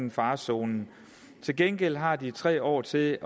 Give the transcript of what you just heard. i farezonen til gengæld har de tre år til